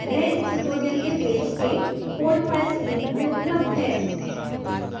वह इस tutorial के पेज के code files link में उपलब्ध है